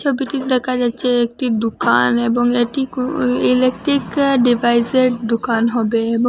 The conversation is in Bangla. ছবিটিতে দেখা যাচ্ছে একটি দুকান এবং এটি কো এ ইলেকট্রিক ডিভাইসের দুকান হবে এবং--